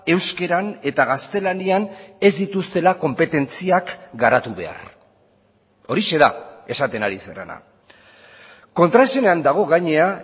euskaran eta gaztelanian ez dituztela konpetentziak garatu behar horixe da esaten ari zarena kontraesanean dago gainera